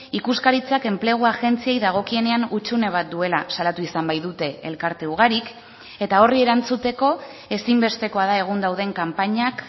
ikuskaritzak enplegu agentziei dagokienean hutsune bat duela salatu izan baitute elkarte ugarik eta horri erantzuteko ezinbestekoa da egun dauden kanpainak